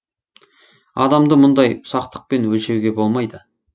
адамды мұндай ұсақтықпен өлшеуге болмайды